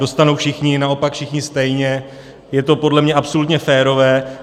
Dostanou všichni, naopak všichni stejně, je to podle mě absolutně férové.